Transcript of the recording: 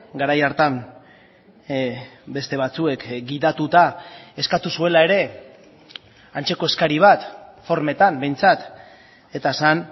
garai hartan beste batzuek gidatuta eskatu zuela ere antzeko eskari bat formetan behintzat eta zen